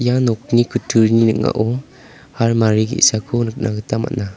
ia nokni kutturini ning·ao harmari ge·sako nikna gita man·a.